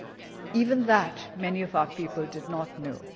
Even that many of our people did not know.